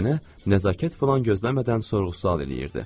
Nənə nəzakət filan gözləmədən sorğu-sual eləyirdi.